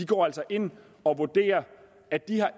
går altså ind og vurderer at de